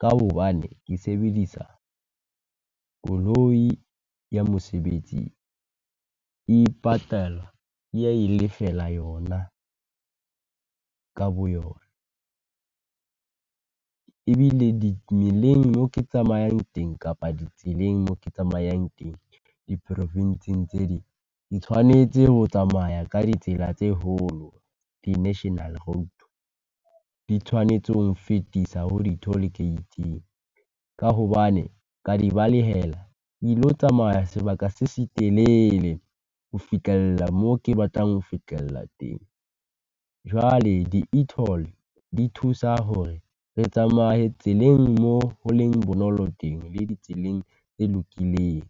ka hobane ke sebedisa koloi ya mosebetsi, e ipatala e ya e lefela yona ka boyona. Ebile di meleng mo ke tsamayang teng kapa ditseleng mo ke tsamayang teng, diprofinsing tse ding, ke tshwanetse ho tsamaya ka ditsela tse holo, di-national road. Di tshwanetse ho re fetisa ho toll gate-ing, ka hobane ka di balehela, ke ilo tsamaya sebaka se setelele ho fihlella mo ke batlang ho fihlella teng. Jwale di e-toll, di thusa hore re tsamaye tseleng mo ho leng bonolo teng, le di tseleng e lokikeng.